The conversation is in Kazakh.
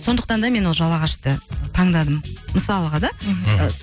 сондықтан да мен ол жалағашты таңдадым мысалыға да мхм ы